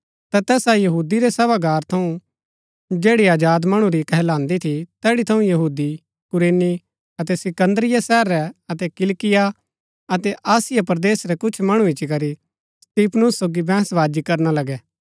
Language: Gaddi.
ता तैसा यहूदी रै सभागार थऊँ जैड़ी आजाद मणु री कहलांदी थी तैड़ी थऊँ यहूदी कुरैनी अतै सिकन्दरिया शहरा रै अतै किलिकिया अतै एशिया परदेस रै कुछ मणु इच्ची करी स्तिफनुस सोगी बैंहसवाजी करना लगै